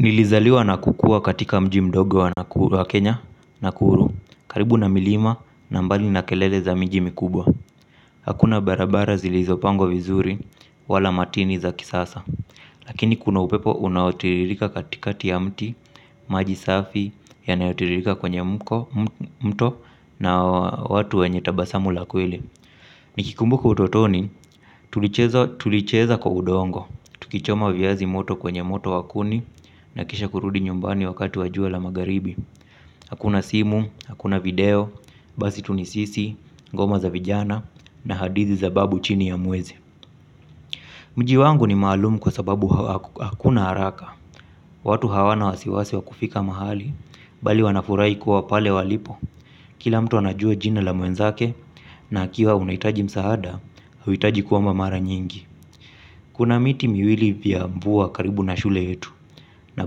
Nilizaliwa na kukua katika mji mdogo wa kenya nakuru. Karibu na milima na mbali na kelele za miji mkubwa. Hakuna barabara zilizopangwa vizuri wala matini za kisasa. Lakini kuna upepo unaotiririka katikati ya mti. Maji safi yanayotiririka kwenye mko mto na watu wenye tabasamu la kweli nikikumbuka utotoni tulicheza tulicheza kwa udongo tukichoma viazi moto kwenye moto wa kuni na kisha kurudi nyumbani wakati wa jua la magharibi. Hakuna simu, hakuna video, basi tu ni sisi, ngoma za vijana na hadithi za babu chini ya mwezi. Mji wangu ni maalumu kwa sababu hakuna haraka. Watu hawana wasiwasi wa kufika mahali, bali wanafurahi kuwa pale walipo. Kila mtu anajua jina la mwenzake na akiwa unahitaji msaada, huhitaji kuomba mara nyingi. Kuna miti miwili vya mvua karibu na shule yetu na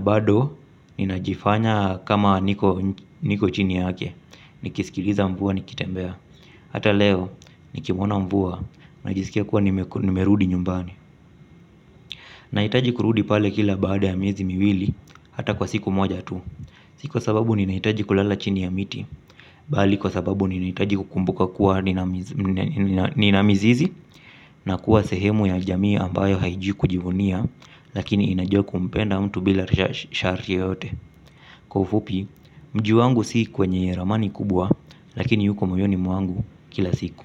bado ninajifanya kama niko niko chini yake. Nikisikiliza mvua nikitembea. Hata leo nikimuona mvua. Najisikia kuwa nimerudi nyumbani. Nahitaji kurudi pale kila baada ya miezi miwili. Hata kwa siku moja tu hii ni kwa sababu ninahitaji kulala chini ya mti bali kwa sababu ninahitaji kukumbuka kuwa nina mizizi na kuwa sehemu ya jamii ambayo haijui kujivunia lakini inajua kumpenda mtu bila shari yoyote. Kwa ufupi, mji wangu si kwenye ramani kubwa. Lakini yuko moyoni mwangu kila siku.